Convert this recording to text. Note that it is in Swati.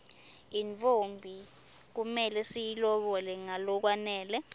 intfombi kumele siyilobole ngalokwanele